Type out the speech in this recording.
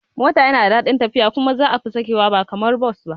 Mota yana da dadin tafiya kuma za kafi sakewa ba kamar Bus ba